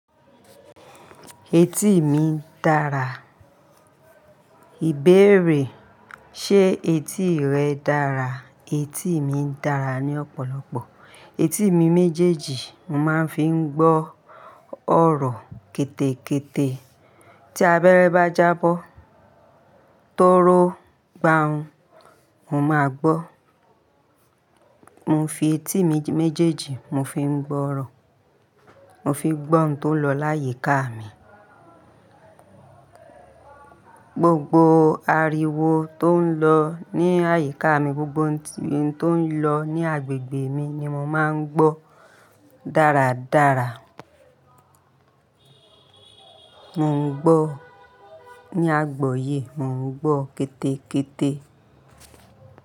Etí mi dara. Ìbéèrè, ṣe etí rẹ dára? Etí mi dára ni ọ̀pọ̀lọpọ̀. Etí mi méjèèjì mo máa ń fi ń gbọ́ ọ̀rọ̀ kété kété. Tí abẹ́rẹ́ bá jábọ́, tóró gba hun, mo máa gbọ́. Mo ń fi etí méjèèjì mo fi ń gbọ́ ọ̀rọ̀, mo fi ń gbọ́ ohun tó ń lọ láyíká mi. Gbogbo ariwo tó ń lọ ní àyíká mi, gbogbo ohun tó ń lọ ní agbègbè mi ni mo máa ń gbọ́ dáradára. Mo ń gbọ́ ní àgboyé, mo ń gbọ́ kété kété.